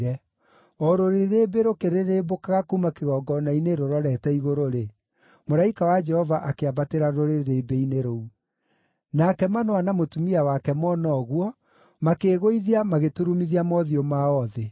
O rũrĩrĩmbĩ rũkĩrĩrĩmbũkaga kuuma kĩgongona-inĩ rũrorete igũrũ-rĩ, mũraika wa Jehova akĩambatĩra rũrĩrĩmbĩ-inĩ rũu. Nake Manoa na mũtumia wake mona ũguo, makĩĩgũithia magĩturumithia mothiũ mao thĩ.